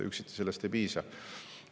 Sellest üksiti ei piisa.